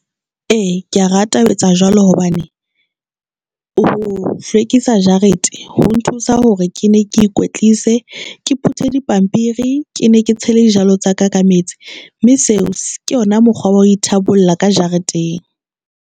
E, kea rata ho etsa jwalo hobane ho hlwekisa jarete ho nthusa hore ke ne ke ikwetlise Ke put di pampiri, ke ne ke tshele dijalo tsa ka ka metsi mme seo se ke yona mokgwa wo. Tabola ka jareteng.